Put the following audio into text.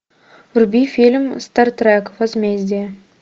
вруби фильм стартрек возмездие